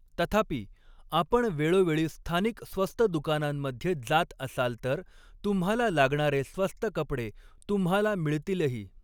तथापि, आपण वेळोवेळी स्थानिक स्वस्त दुकानांमध्ये जात असाल तर तुम्हाला लागणारे स्वस्त कपडे तुम्हाला मिळतीलही.